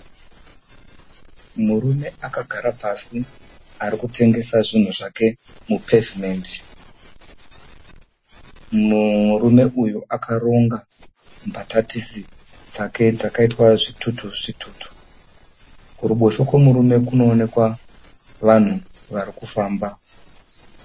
Murume akagara pasi arikutengesa zvinhu zvake mu(pavement). Murume uyu akaronga mbatatisi dzake dzaitwa zvitutu zvitutu. Kuruboshwe kwemurume kunoonekwa vanhu varikufamba.